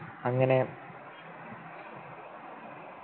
അങ്ങനെ